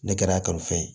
Ne kɛra a kanufɛn ye